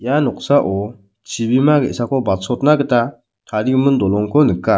ia noksao chibima ge·sako batsona gita tarigimin dolongko nika.